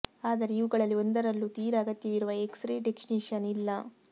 ಆದರೆ ಇವುಗಳಲ್ಲಿ ಒಂದರಲ್ಲೂ ತೀರ ಅಗತ್ಯವಿರುವ ಎಕ್ಸ್ ರೇ ಟೆಕ್ನಿಷಿಯನ್ ಇಲ್ಲ